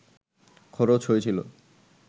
খরচ হয়েছিল